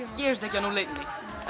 gerist ekki á núll einni